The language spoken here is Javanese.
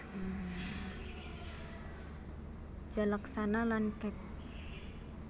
Jalaksana lan Kec